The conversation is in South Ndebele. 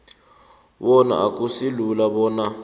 bona akusilula bona